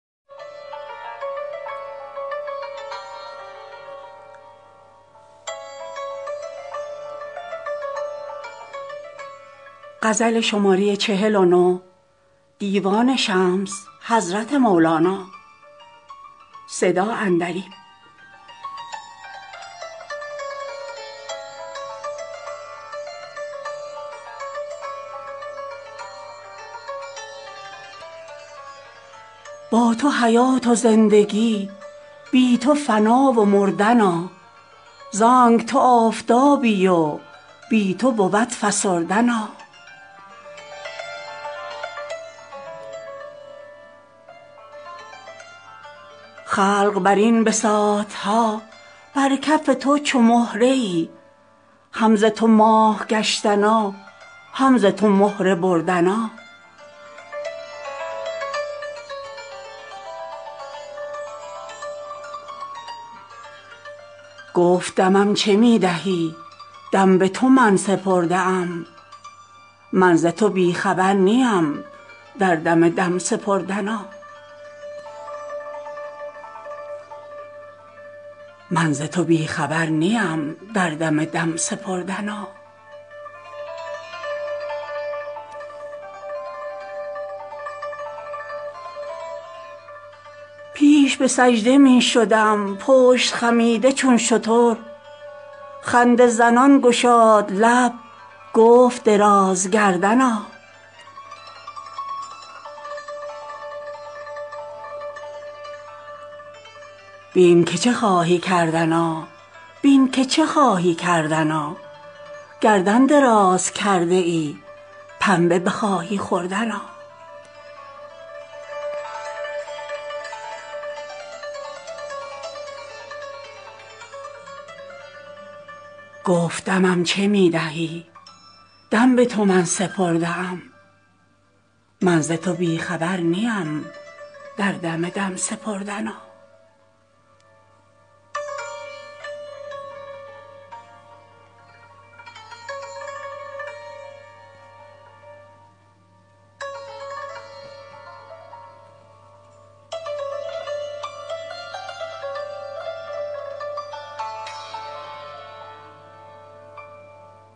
با تو حیات و زندگی بی تو فنا و مردنا زانک تو آفتابی و بی تو بود فسردنا خلق بر این بساط ها بر کف تو چو مهره ای هم ز تو ماه گشتنا هم ز تو مهره بردنا گفت دمم چه می دهی دم به تو من سپرده ام من ز تو بی خبر نیم در دم دم سپردنا پیش به سجده می شدم پشت خمیده چون شتر خنده زنان گشاد لب گفت درازگردنا بین که چه خواهی کردنا بین که چه خواهی کردنا گردن دراز کرده ای پنبه بخواهی خوردنا